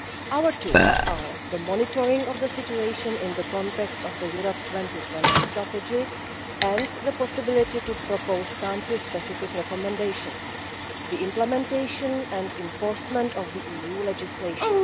Our tools are the monitoring of the situation in the context of the Europe 2020 Strategy and the possibility of proposing Country Specific Recommendations the implementation and enforcement of the EU legislation